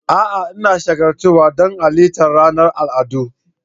A'a! Ina shagaltuwa don halartar ranar al'adu.